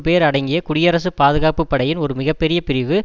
பேர் அடங்கிய குடியரசு பாதுகாப்பு படையின் ஒரு மிக பெரிய பிரிவு